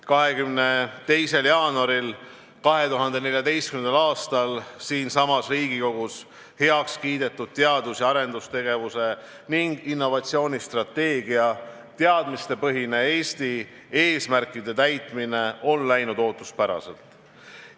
22. jaanuaril 2014. aastal siinsamas Riigikogus heaks kiidetud teadus- ja arendustegevuse ning innovatsioonistrateegia "Teadmistepõhine Eesti" eesmärkide täitmine on läinud ootuspäraselt.